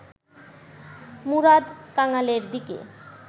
মুরাদ কাঙালের দিকে